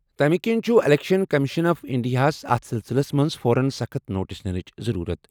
تَمِہ کِنۍ چھُ الیکشن کمیشن آف انڈیاہَس اتھ سلسلَس منٛز فوراً سخٕت نوٹس نِنٕچ ضروٗرت۔